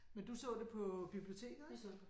Men du så det på biblioteket ik